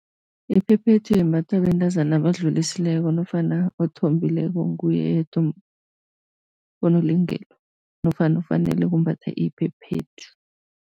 Iphephethu imbathwa bentazana abadlulisile nofana othombileko, nguye yedwa onelungelo nofana ofanele kumbatha iphephethu.